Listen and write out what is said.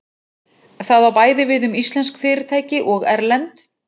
Það á bæði við um íslensk fyrirtæki og erlend.